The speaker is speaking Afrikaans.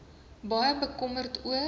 baie bekommerd oor